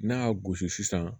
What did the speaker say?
N'a y'a gosi sisan